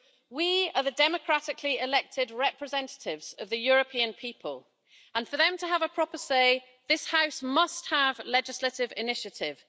We are the democratically elected representatives of the European people and for them to have a proper say, this House must have legislative initiative.